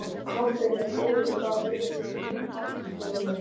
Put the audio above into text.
Klobbinn er góður Hvaða liði myndir þú aldrei spila með?